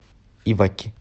иваки